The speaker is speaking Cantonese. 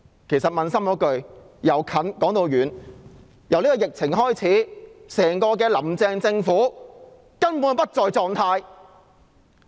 其實平心而論，由近而遠，自疫情開始，整個"林鄭"政府根本不在狀態。